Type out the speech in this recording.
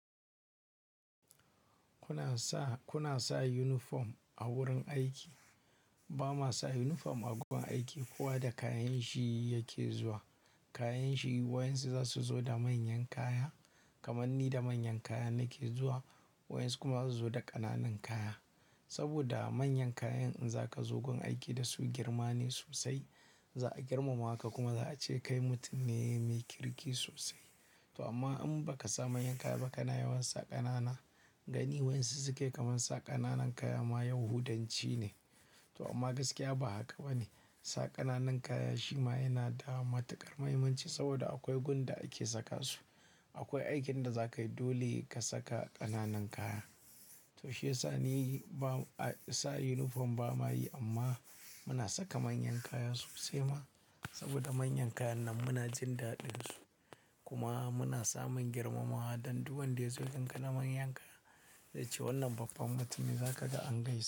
Kuna sa, kuna sa yunifom a wurin aiki? Ba ma sa unifom a gurin aiki, kowa da kayan shi yake zuwa. Kayan shi, waɗansu za su zo da manyan kaya, kamar ni da manyan kaya nake zuwa, waɗansu kuma za su zo da ƙananan kaya. Saboda manyan kayan in za ka zo gun aiki da su girma ne sosai, za a girmama ka kuma za a ce kai mutum ne mai kirki sosai. To amma in baka sa manyan kaya ba kana yawan sa ƙanana, ganin wayansu suke kaman sa ƙananan kaya ma ya hudanci ne. To amma gaskiya ba haka ba ne. Sa ƙananun kaya shi ma yana da matuƙar mahimmanci saboda akwai gun da ake saka su. Akwai aikin da za ka yi dole ka saka ƙananun kaya. To shiyasa ni ba, sa yunifom ba mayi amma muna saka manyan kaya sosai ma. Saboda manyan kayan nan muna jin daɗin su. Kuma muna samun girmamawa don duk wanda ya zo gunka da manyan kaya, zai ce wannan babban mutum ne za ka ga angaisa.